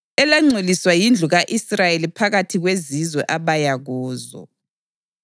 Nganqinekela ibizo lami elingcwele, elangcoliswa yindlu ka-Israyeli phakathi kwezizwe abaya kuzo.